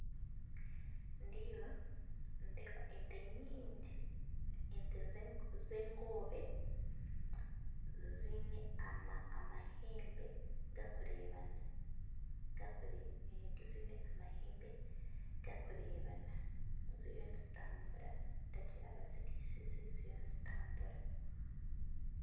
Ndiyo nindeeba ente nyingi ente zengoobe ziine amahembe gakureebana ziriyo nizitambura ningira bazirisize ziriyo nizitambura